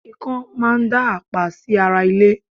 ikán máa ń dá àpá sí ara ilé